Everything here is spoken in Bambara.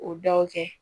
O daw kɛ